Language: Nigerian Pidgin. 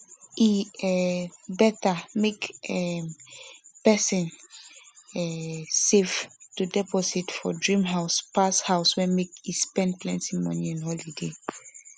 e um beta make um person um save to deposit for dream house pass house pass make e spend plenti money on holiday